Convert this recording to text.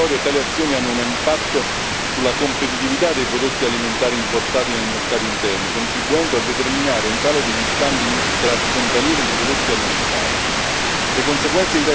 Oltre all'effetto discriminatorio, tali azioni hanno un impatto sulla competitività dei prodotti alimentari importati nel mercato interno, contribuendo a determinare un calo degli scambi in transfrontalieri di prodotti alimentari.